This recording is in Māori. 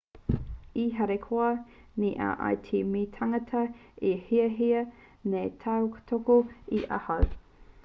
e harikoa nei au i te mea he tāngata e hiahia nei te tautoko i ahau